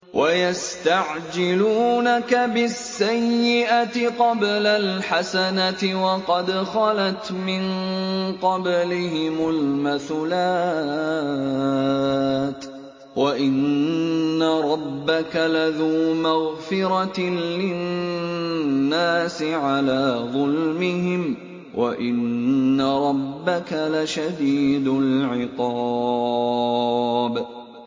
وَيَسْتَعْجِلُونَكَ بِالسَّيِّئَةِ قَبْلَ الْحَسَنَةِ وَقَدْ خَلَتْ مِن قَبْلِهِمُ الْمَثُلَاتُ ۗ وَإِنَّ رَبَّكَ لَذُو مَغْفِرَةٍ لِّلنَّاسِ عَلَىٰ ظُلْمِهِمْ ۖ وَإِنَّ رَبَّكَ لَشَدِيدُ الْعِقَابِ